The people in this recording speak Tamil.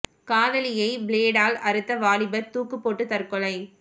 காதலியை பிளேடால் அறுத்த வாலிபர் தூக்கு போட்டு தற்கொலை